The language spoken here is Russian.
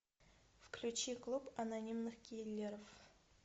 включи клуб анонимных киллеров